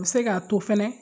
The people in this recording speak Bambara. O bɛ se k'a to fɛnɛ